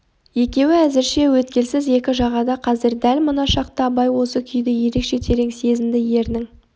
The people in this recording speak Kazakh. екеуі әзірше өткелсіз екі жағада қазір дәл мына шақта абай осы күйді ерекше терең сезінді ернің